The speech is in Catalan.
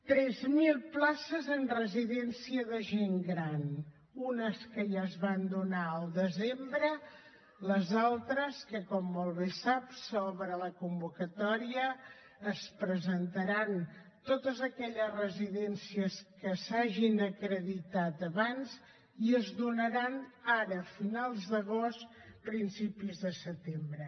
tres mil places en residència de gent gran unes que ja es van donar al desembre les altres que com molt bé sap se n’obre la convocatòria s’hi presentaran totes aquelles residències que s’hagin acreditat abans i es donaran ara a finals d’agost principis de setembre